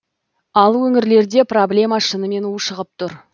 ал өңірлерде проблема шынымен ушығып тұр